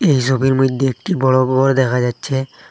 এই সোবির মইদ্যে একটি বড় গর দেখা যাচ্ছে।